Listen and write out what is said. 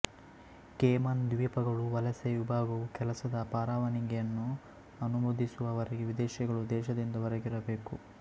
Cayman ದ್ವೀಪಗಳ ವಲಸೆ ವಿಭಾಗವು ಕೆಲಸದ ಪರವಾನಿಗೆಯನ್ನು ಅನುಮೋದಿಸುವ ವರೆಗೆ ವಿದೇಶಿಗಳು ದೇಶದಿಂದ ಹೊರಗಿರಬೇಕು